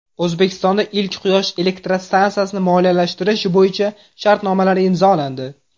O‘zbekistonda ilk quyosh elektrostansiyasini moliyalashtirish bo‘yicha shartnomalar imzolandi.